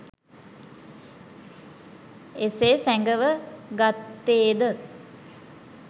එසේ සැඟව ගත්තේ ද?